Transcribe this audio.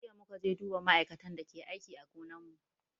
Jiya muka je duba ma'aikatan da ke aiki a gonan mu